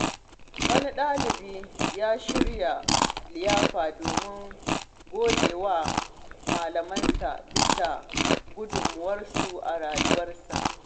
Wani dalibi ya shirya liyafa domin gode wa malamansa bisa gudunmawarsu a rayuwarsa.